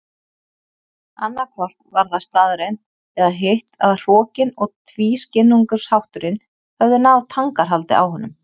Annaðhvort var það staðreynd eða hitt að hrokinn og tvískinnungshátturinn höfðu náð tangarhaldi á honum.